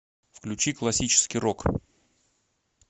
включи классический рок